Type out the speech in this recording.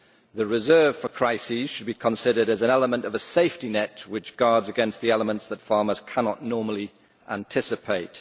The reserve for crises should be considered as one element of a safety net which guards against the elements that farmers cannot normally anticipate.